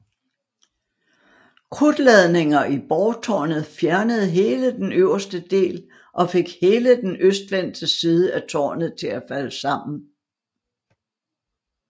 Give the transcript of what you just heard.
Krudtladninger i borgtårnet fjernede hele den øverste del og fik hele den østvendte side af tårnet til at falde sammen